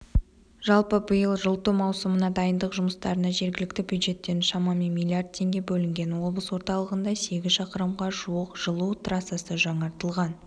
жалпы биыл жылыту маусымына дайындық жұмыстарына жергілікті бюджеттен шамамен миллиард теңге бөлінген облыс орталығында сегіз шақырымға жуық жылу трассасы жаңартылған